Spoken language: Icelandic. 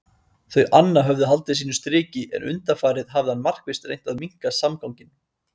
Þau anna höfðu haldið sínu striki en undanfarið hafði hann markvisst reynt að minnka samganginn.